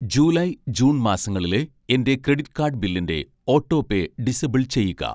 July, June മാസങ്ങളിലെ എൻ്റെ credit card ബില്ലിൻ്റെ ഓട്ടോപേ ഡിസബിൾ ചെയ്യുക